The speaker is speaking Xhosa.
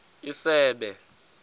isebe